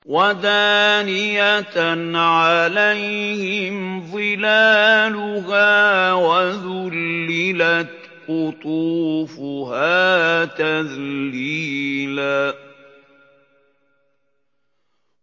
وَدَانِيَةً عَلَيْهِمْ ظِلَالُهَا وَذُلِّلَتْ قُطُوفُهَا تَذْلِيلًا